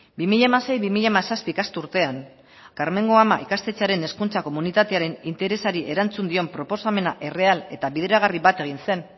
bi mila hamasei bi mila hamazazpi ikasturtean karmengo ama ikastetxearen hezkuntza komunitatearen interesari erantzun dion proposamena erreal eta bideragarri bat egin zen